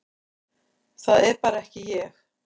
Það er bara ekki ég,